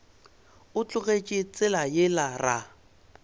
o tlogetše tsela yela ra